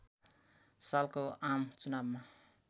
सालको आम चुनावमा